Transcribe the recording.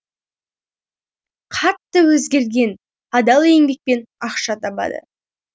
қатты өзгерген адал еңбекпен ақша табады